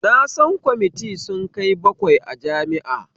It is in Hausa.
Na san kwamiti sun kai bakwai a jami'a